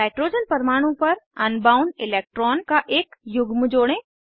nitrogen परमाणु पर unbound electron का एक युग्म जोड़ें